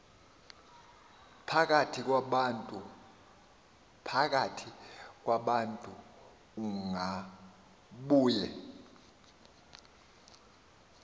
phakathi kwabantu ungabuye